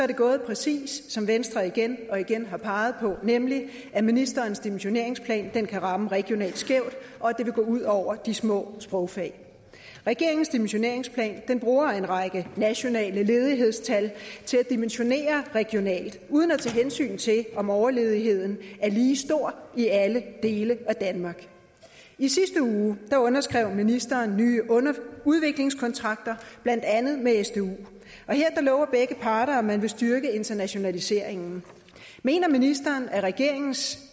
det gået præcis som venstre igen og igen har peget på nemlig at ministerens dimensioneringsplan kan ramme regionalt skævt og at det vil gå ud over de små sprogfag regeringens dimensioneringsplan bruger en række nationale ledighedstal til at dimensionere regionalt uden at tage hensyn til om overledigheden er lige stor i alle dele af danmark i sidste uge underskrev ministeren nye udviklingskontrakter blandt andet med sdu her lover begge parter at man vil styrke internationaliseringen mener ministeren at regeringens